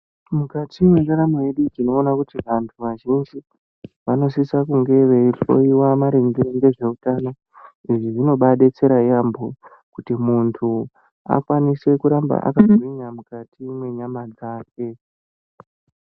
Mukati mwendaramo yedu, tinoona kuti anhu azhinji vanosisa kunge veihloiwa maringe ngezveutano. Izvi zvinobaadetsera yaampho, kuti muntu akwanise kuramba akagwinya mukati mwenyama dzake.